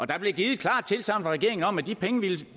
der blev givet et klart tilsagn fra regeringen om at de penge